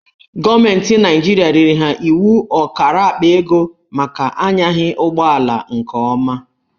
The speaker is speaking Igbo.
Gọọmentị Naijiria riri ha iwu ọkara akpa ego maka a nyaghị ụgbọala nke ọma.